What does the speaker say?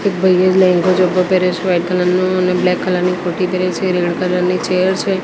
એક ભાઈએ લેંઘો ઝભ્ભો પહેરે છે વાઈટ કલર નો અને બ્લેક કલર ની કુરતી પહેરે છે અને રેડ કલર ની ચેર છે.